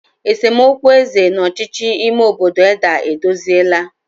esemokwu eze na ọchịchị ime obodo Edda edozila.